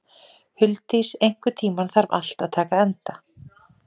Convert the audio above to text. Huldís, einhvern tímann þarf allt að taka enda.